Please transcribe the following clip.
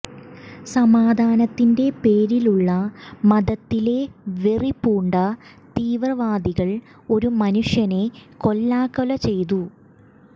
സമാധാനത്തിന്റെ പേരിലുള്ള മതത്തിലെ വെറിപൂണ്ട തീവ്ര വാദികൾ ഒരു മനുഷ്യനെ കൊല്ലാക്കൊല ചെയ്തു